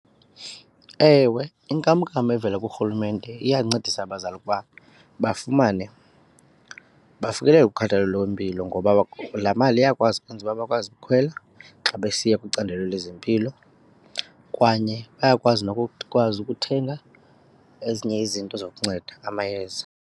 Ewe, inkamnkam evela kurhulumente iyancedisa abazali ukuba bafumane, bafikelele kukhathalelo lwempilo ngoba laa mali ukwenzela uba bakwazi ukukhwela xa besiya kwicandelo lezempilo. Kanye bayakwazi nokukwazi ukuthenga ezinye izinto zokukunceda amayeza.